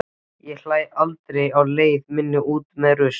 Ég hlæ aldrei á leið minni út með rusl.